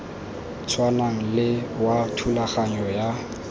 tshwanang le wa thulaganyo ya